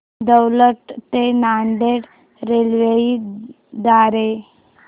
दौंड ते नांदेड रेल्वे द्वारे